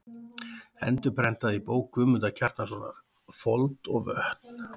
Endurprentað í bók Guðmundar Kjartanssonar: Fold og vötn.